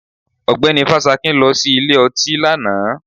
Ọgbẹ́ni Fásakin lọ sí ilé ọtí lánàá